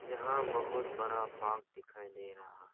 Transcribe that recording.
यहां बहुत बड़ा पार्क दिखाई दे रहा--